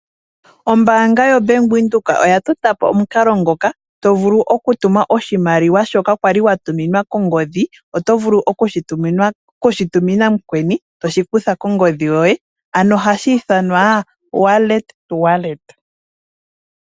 Ombaanga yoBank Windhoek oya tota po omukalo ngoka tovulu okutuma oshimaliwa shoka wali watuminwa kongodhi. Otovulu okushi tumina mukweni toshi kutha kongodhi yoye, ano ohashi ithanwa wallet-wallet.